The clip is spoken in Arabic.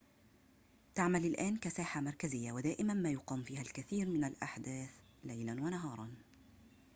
تعمل الآن كساحة مركزية ودائماً ما يقام فيها الكثير من الأحداث ليلاً ونهاراً